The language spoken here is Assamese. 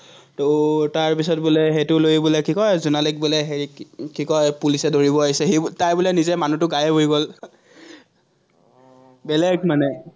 তাৰপিচত বোলে সেটোলৈ বোলে কি কয় জোনালীক বোলে হেৰি, কি কয়, পুলিছে ধৰিব আহিছে, সি, তাই বোলে, নিজে মানুহটো গাইব হৈ গল। বেলেগ মানে